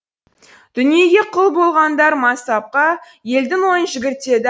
дүниеге құл болғандар мансапқа елдің ойын жүгіртеді